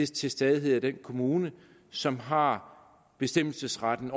til stadighed den kommune som har bestemmelsesretten